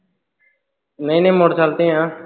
ਨਹੀਂ ਨਹੀਂ, ਮੋਟਰਸਾਈਕਲ ਤੇ ਆ।